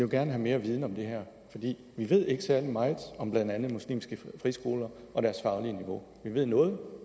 jo gerne have mere viden om det her for vi ved ikke særlig meget om blandt andet muslimske friskoler og deres faglige niveau vi ved noget